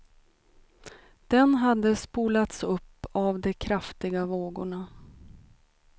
Den hade spolats upp av de kraftiga vågorna.